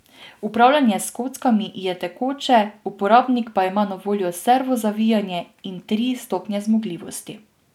Upravljanje s kockami je tekoče, uporabnik pa ima na voljo servo zavijanje in tri stopnje zmogljivosti.